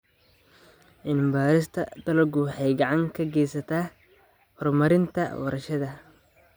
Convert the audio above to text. Cilmi-baarista dalaggu waxay gacan ka geysataa horumarinta warshadaha.